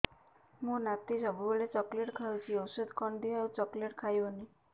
ମୋ ନାତି ସବୁବେଳେ ଚକଲେଟ ଖାଉଛି ଔଷଧ କଣ ଦିଅ ଆଉ ଚକଲେଟ ଖାଇବନି